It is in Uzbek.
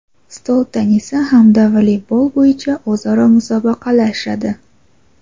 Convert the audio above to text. stol tennisi hamda voleybol bo‘yicha o‘zaro musobaqalashadi.